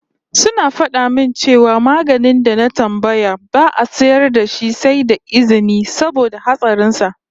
Suna fada min cewa maganin da na tambaya ba'a sayar da shi sai da izini saboda hatsarin sa